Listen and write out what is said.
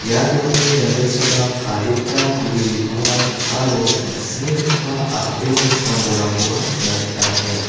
ia nokni janggilchipak adita gue bipangrang aro tangsimgipa a·brini sam-bolrangkoba nikna gita man·enga.